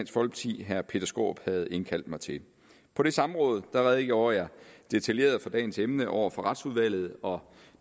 i herre peter skaarup havde indkaldt mig til på det samråd redegjorde jeg detaljeret for dagens emne over for retsudvalget og